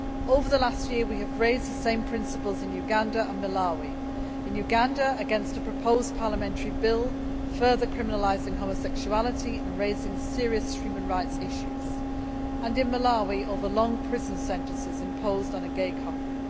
Over the last year we have raised the same principles in Uganda and Malawi in Uganda, against a proposed parliamentary bill further criminalising homosexuality and raising serious human rights issues, and in Malawi against the long prison sentences imposed on a gay couple.